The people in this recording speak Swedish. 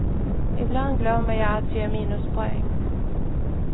Ibland glömmer jag att ge minuspoäng.